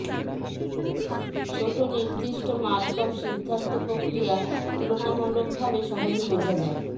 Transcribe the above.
ছোট নির্দিষ্ট মারকভ সিদ্ধান্ত প্রক্রিয়া তুলনামূলকভাবে সহজে বোঝা যায়